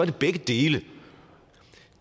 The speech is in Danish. det begge dele